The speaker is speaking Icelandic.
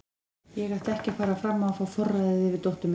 Gissunn, hvað er jörðin stór?